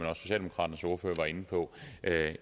var inde på